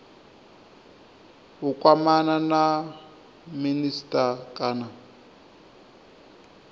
u kwamana na minisita kana